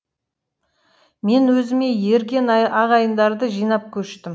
мен өзіме ерген ағайындарды жинап көштім